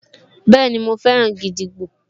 Bẹ́ẹ̀ni, mo fẹ́ràn gídígbò